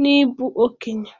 n'ịbụ okenye